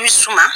I bi suma